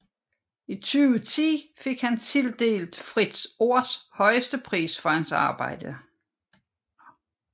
I 2010 fik han tildelt Fritt Ords højeste pris for hans arbejde